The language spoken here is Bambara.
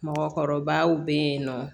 Mɔgɔkɔrɔbaw be yen nɔ